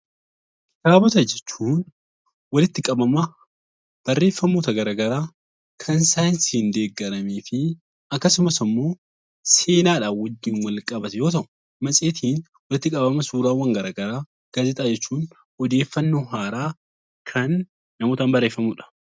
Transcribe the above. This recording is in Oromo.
Kitaabota jechuun walitti qabama barreeffamoota garagaraa kan saayinsiin deeggaramee fi akkasumas ammoo seenaadhaa wajjin walqabatu yoo ta'u, matseetiin walitti qabama suuraawwan garagaraa, gaazexaa jechuun odeeffannoo haaraa kan namootaan barreeffamuu dha.